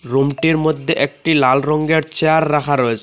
রুমটির মদ্যে একটি লাল রঙের চেয়ার রাখা রয়েসে।